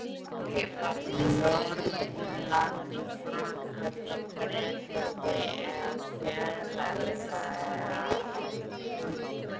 Norðurlanda: í Frakklandi, Bretlandi eða enn fjarlægari löndum.